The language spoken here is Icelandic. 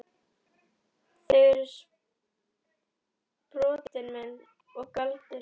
Þau eru sproti minn og galdur.